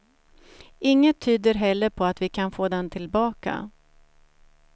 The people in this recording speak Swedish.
Inget tyder heller på att vi kan få den tillbaka.